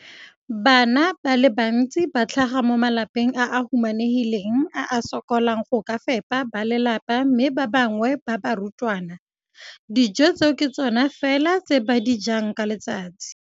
Bana ba le bantsi ba tlhaga mo malapeng a a humanegileng a a sokolang go ka fepa ba lelapa mme ba bangwe ba barutwana, dijo tseo ke tsona fela tse ba di jang ka letsatsi.